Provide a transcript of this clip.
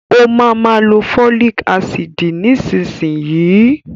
Ó ma ma lo fólìk ácìdì nísinsìnyí